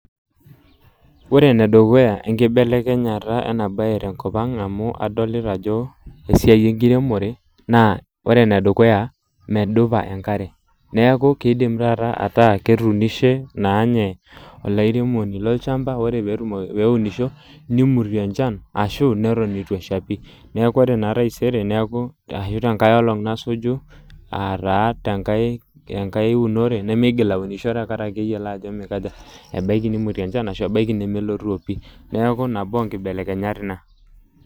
Ore enedukuya enkibelekenyata ena bae tenkop ang amu aolita ajo esiai enkiremore naa ore ene dukuya , medupa enkare , neaku kidim taata ataa ketuunishe naa ninye olairemoni lolchamba, ore petumoki, peunisho , nimutie enchan ashu neton itu esha pi , neaku orenaa taisere ashu tenkae olong nesuju, aataa tenkae, tenkae unore , nemeigil aunisho tenkariki eyiolo ajo mikaja, ebaiki nimutie enchan ashu ebaiki nelo pi, neaku nabo onkibelekenyat ina.